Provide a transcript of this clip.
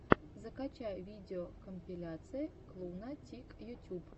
закачай видеокомпиляция клуна тик ютюб